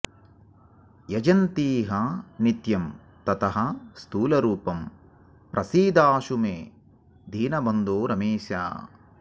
यजन्तीह नित्यं ततः स्थूलरूपं प्रसीदाशु मे दीनबन्धो रमेश